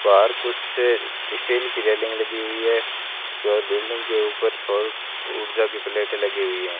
बाहर कुछ स्टील की रेलिंग लगी हुई है और बिल्डिंग के ऊपर सौर ऊर्जा की प्लेटें लगी हुई हैं।